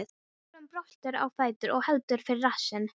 Þjófurinn bröltir á fætur og heldur fyrir rassinn.